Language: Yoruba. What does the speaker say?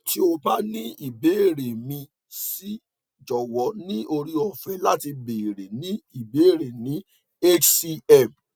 ti o ba ni ibeere mi si jowo ni ore ofe lati beere ni beere ni hcm